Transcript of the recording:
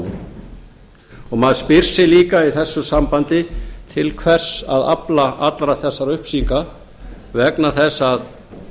máli maður spyr sig líka í þessu sambandi til hvers að afla allra þessara upplýsinga vegna þess að